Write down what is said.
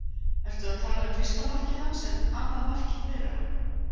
Ertu að tala um fyrsta markið hans en annað markið þeirra?